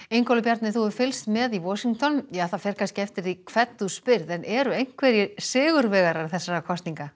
Ingólfur Bjarni þú hefur fylgst með í Washington það fer kannski eftir því hvern þú spyrð en eru einhverjir sigurvegarar þessara kosninga